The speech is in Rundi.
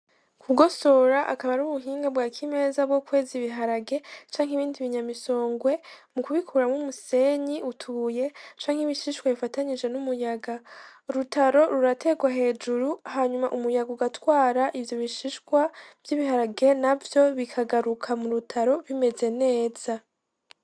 Kugosora akaba ari ubuhinga bwa kimeza bwo kweza ibiharage canke ibindi bi nyamisongwe mu kubikuramwo umusenyi utubuye canke ibishishwa bifatanyije n'umuyaga, urutaro ruraterwa hejuru hanyuma umuyaga ugatwara ivyo bishishwa vy'ibiharage navyo bikagaruka mu rutaro bimeze neza